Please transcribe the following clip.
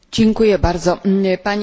Pani Przewodnicząca!